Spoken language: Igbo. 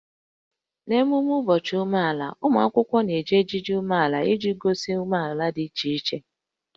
N'ememme ụbọchị omenala, ụmụ akwụkwọ na-eji ejiji omenala iji gosi omenala dị iche iche